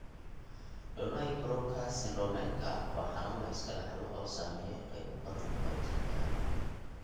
Donnai Barrowka syndromeka waa xanuun la iska dhaxlo oo saameeya qaybo badan oo jirka ah.